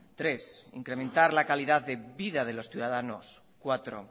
tres incrementar la calidad de vida de los ciudadanos cuatro